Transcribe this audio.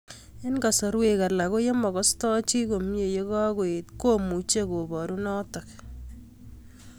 Eng'kasarwek alak ko ye makastoi chii komie ye kakoet komuchi koparu notok